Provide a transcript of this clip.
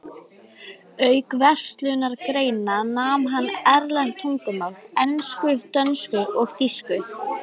Auk verslunargreina nam hann erlend tungumál: ensku, dönsku og þýsku.